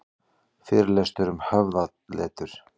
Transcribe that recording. Fyrirlestur um höfðaletur